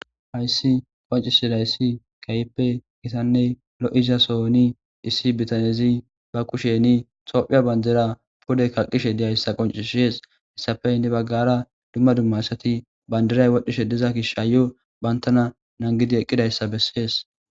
hayssi qoncisidayssi kehippe gitanne lo7iza sooni issi bitanezi ba kusheni tophiya bandira pude kaqqishe diyayssa qoncishees hessafey ne baggara dumma dumma asati bandiray wodhishe diza gish ayo bantana nangidi eqqidayssa bessees